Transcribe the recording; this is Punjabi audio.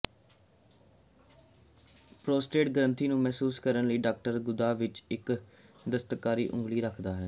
ਪ੍ਰੋਸਟੇਟ ਗਰੰਥੀ ਨੂੰ ਮਹਿਸੂਸ ਕਰਨ ਲਈ ਡਾਕਟਰ ਗੁਦਾ ਵਿਚ ਇਕ ਦਸਤਕਾਰੀ ਉਂਗਲੀ ਰੱਖਦਾ ਹੈ